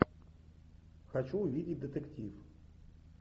хочу увидеть детектив